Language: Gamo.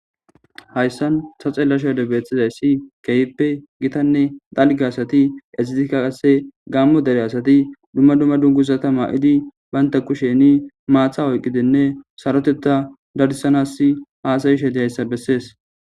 Hayssan ta xella sha ode bexxizayssi keeyppe gitanne dalge asati ezitika qasse gaammo dere asati dumma dumma dungusata ma7idi baynta kusheni maatha oyqqidenne saroteta darisanass haasayi shedehayssa bessees